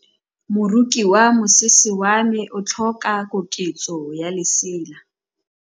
Moroki wa mosese wa me o tlhoka koketsô ya lesela.